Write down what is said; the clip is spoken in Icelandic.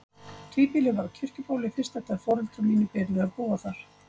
Tvíbýli var á Kirkjubóli fyrst eftir að foreldrar mínir byrjuðu að búa þar.